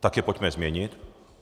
Tak je pojďme změnit.